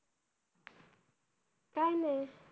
काय नाही